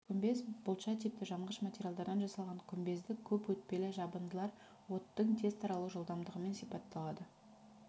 күмбез-бұлтша типті жанғыш материалдардан жасалған күмбезді көп өтпелі жабындылар оттың тез таралу жылдамдығымен сипатталады